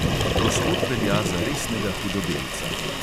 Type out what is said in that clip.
Gospod velja za resnega hudodelca.